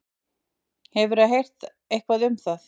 Hefurðu heyrt eitthvað um það?